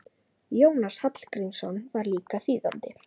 Jónas Hallgrímsson var líka þýðandi.